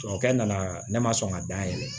Tubabu kɛ nana ne ma sɔn ka da yɛlɛ